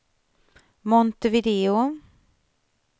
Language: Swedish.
Montevideo